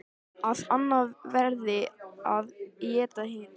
Að annað verði að éta hitt.